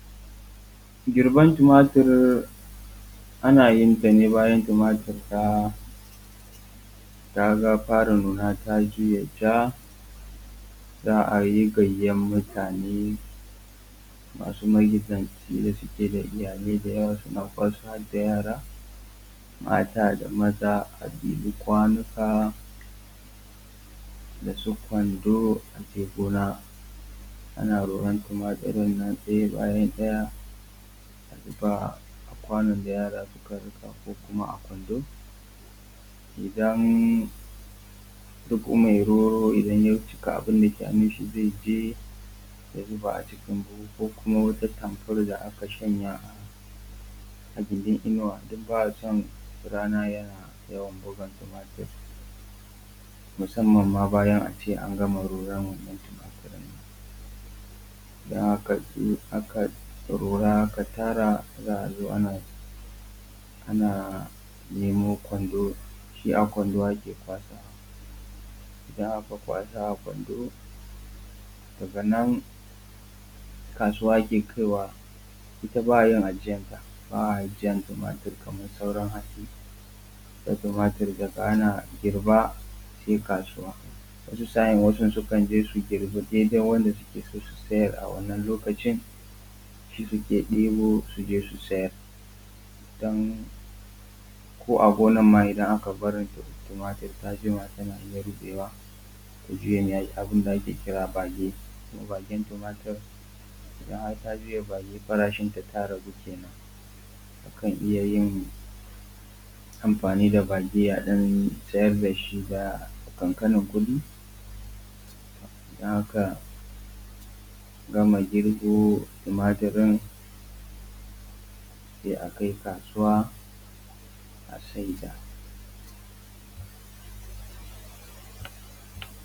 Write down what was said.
Girban tumatur ana yin ta ne bayan tumatur ta fara nuna ta juye ja, za a yi gayyan mutane, masu magidanci da suke da iyalai da yawa suna kwasan har da yara, mata, da maza a ɗibi kwanuka da su Kwando, a je gona ana roran tumaturin nan ɗaya bayan ɗaya a zuba a kwanon da yara suka ɗauko ko kuma a kwando, Idan duk me roro ya cika abun da ke hannun shi zai je ya zuba a cikin buhu ko kuma wata tamfol da aka shanya a gidin inuwa don ba a son rana yana yawan bugun tumaturin musamman ma bayan a ce an gama roran wannan tumaturin. Don haka in aka rora aka tara za a zo ana neman kwando shi a kwando ake kwasa, idan aka kwasa a kwando daga nan kasuwa ake kai wa, ita ba a yin ajiyan ta, ba a ajiyan tumatur kamar sauran hatsi. Da tumatur daga ana girba sai kasuwa wasu sa'in wasu sukan je su girba dai dai wanda suke so su siyar a wannan lokacin, shi suke ɗebo su je su sayar don ko a gonan ma idan aka bar tumatur ta jima tana iya rubewa ta juye abun da ake kira bage. Kuma bagen tumatur idan har ta juya bage farashin ta ta ragu kenan, akan iya yin amfani da bage a ɗan siyar da shi da ƙanƙanin kuɗi don haka idan aka girbo tumaturin sai a kai kasuwa a sai da.